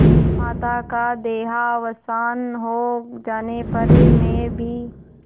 माता का देहावसान हो जाने पर मैं भी